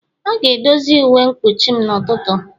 A ga-edozi uwe mkpuchim n'ụtụtụ.